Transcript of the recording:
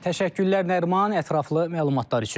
Təşəkkürlər Nəriman, ətraflı məlumatlar üçün.